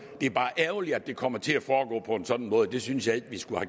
det er bare ærgerligt at det kommer til at foregå på en sådan måde det synes jeg ikke vi skulle